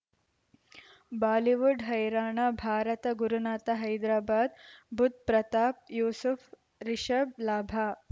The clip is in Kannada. ಬಾಲಿವುಡ್ ಹೈರಾಣ ಭಾರತ ಗುರುನಾಥ ಹೈದರಾಬಾದ್ ಬುಧ್ ಪ್ರತಾಪ್ ಯೂಸುಫ್ ರಿಷಬ್ ಲಾಭ